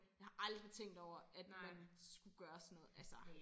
Jeg har aldrig tænkt over at man skulle gøre sådan noget altså